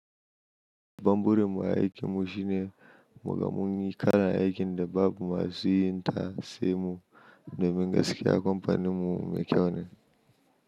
Babban burin mu a aiki mu shine muga mun yi kalan aikin da babu masu yin ta sai mu domin gaskiya ba amfanin mu mai kyau--